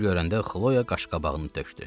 Onu görəndə Xloya qaşqabağını tökdü.